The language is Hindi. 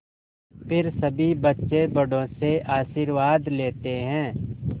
फिर सभी बच्चे बड़ों से आशीर्वाद लेते हैं